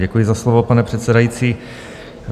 Děkuji za slovo, pane předsedající.